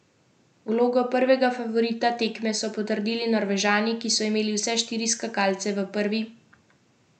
Vlogo prvega favorita tekme so potrdili Norvežani, ki so imeli vse štiri skakalce v prvi deveterici.